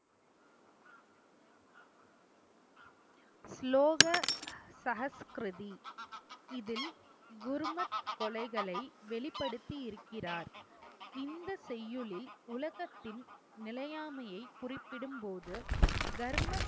ஸ்லோக சஹஸ்கிருதி இதில் குர்மத் கொலைகளை வெளிப்படுத்தி இருக்கிறார். இந்த செய்யுளில் உலகத்தின் நிலையாமையை குறிப்பிடும்போது தர்ம